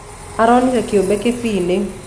Aronĩre kĩũbe kĩbĩĩĩnĩ.